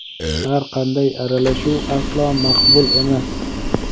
har qanday aralashuv aslo maqbul emas.